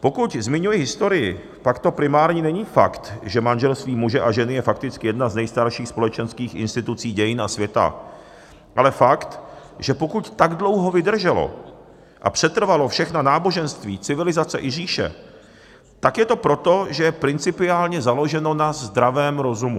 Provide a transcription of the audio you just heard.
Pokud zmiňuji historii, pak to primární není fakt, že manželství muže a ženy je fakticky jedna z nejstarších společenských institucí dějin a světa, ale fakt, že pokud tak dlouho vydrželo a přetrvalo všechna náboženství, civilizace i říše, tak je to proto, že je principiálně založeno na zdravém rozumu.